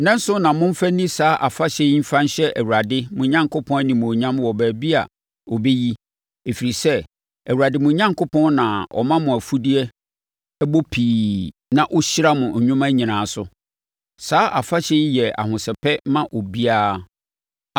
Nnanson na momfa nni saa afahyɛ yi mfa nhyɛ Awurade, mo Onyankopɔn, animuonyam wɔ baabi a ɔbɛyi, ɛfiri sɛ, Awurade mo Onyankopɔn na ɔma mo mfudeɛ bɔ pii na ɔhyira mo nnwuma nyinaa so. Saa afahyɛ yi yɛ ahosɛpɛ ma obiara.